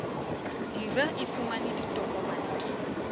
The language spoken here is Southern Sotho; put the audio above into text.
dira e fumane ditokomane ke